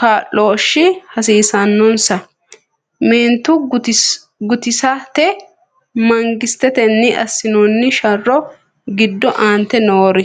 kaa’looshshi hasiisannonsa, Meento guutisate mangistetenni assinoonni sharro giddo aante noori?